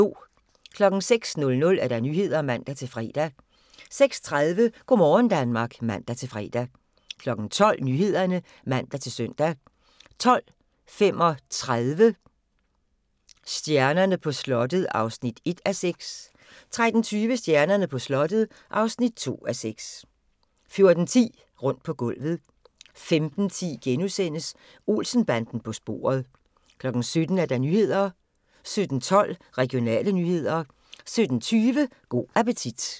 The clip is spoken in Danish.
06:00: Nyhederne (man-fre) 06:30: Go' morgen Danmark (man-fre) 12:00: Nyhederne (man-søn) 12:35: Stjernerne på slottet (1:6) 13:20: Stjernerne på slottet (2:6) 14:10: Rundt på gulvet 15:10: Olsen-banden på sporet * 17:00: Nyhederne 17:12: Regionale nyheder 17:20: Go' appetit